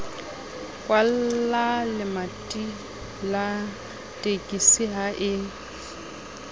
kwallalemati la tekisi ha e